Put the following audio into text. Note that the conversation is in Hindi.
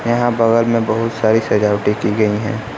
यहाँ बगल में बहुत सारी सजावटी की गई है।